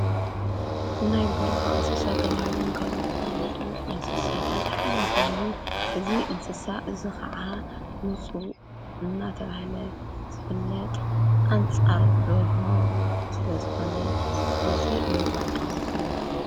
እናይ በረኻ እንስሳ ተብሂሎም ካብዘፊውለጡ እንስሳታት ሓደ ኾይኑ እዝ እንስሳ እዝ ኸዓ ሙፁ እናተብሃለ ዘፍለጥ ኣንፃርድ በርሆ ስለ ዝኾነ ብዙይ እንፈጦ እዩ።